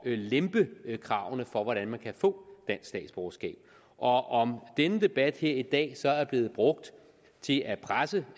lempe kravene for hvordan man kan få dansk statsborgerskab og om denne debat her i dag så er blevet brugt til at presse